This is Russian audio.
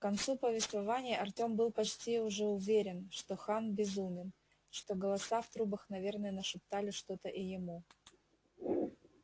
к концу повествования артём был почти уже уверен что хан безумен что голоса в трубах наверное нашептали что-то и ему